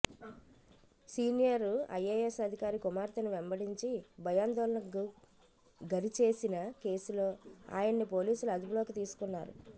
senior IAS అధికారి కుమార్తెను వెంబడించి భయాందోళనకు గరిచేసిన కేసులో ఆయన్ని పోలీసులు అదుపులోకి తీసుకున్నారు